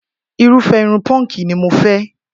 Irúfẹ́ irun punk ni mo fẹ́